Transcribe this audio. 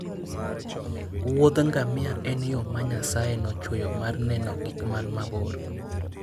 Wuoth ngamia en yo ma Nyasaye nochweyo mar neno gik man mabor.